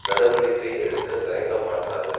நடவடிக்கை எடுக்க தயங்கமாட்டாது